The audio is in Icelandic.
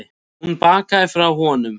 Hún bakkaði frá honum.